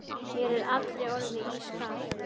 Mér er allri orðið ískalt.